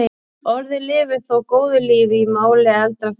Orðið lifir þó góðu lífi í máli eldra fólks.